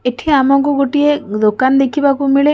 ଏଠି ଆମକୁ ଗୋଟିଏ ଦୋକାନ ଦେଖିବାକୁ ମିଳେ ।